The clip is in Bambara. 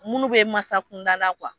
Minnu bɛ masa kunda